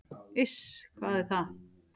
"""Iss, hvað er það?"""